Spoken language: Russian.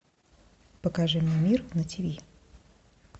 покажи мне мир на тиви